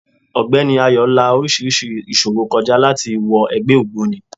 Ógbeni Ayo la orísirísi ìṣòro kọ já láti wọ ẹgbẹ́ ògbóni.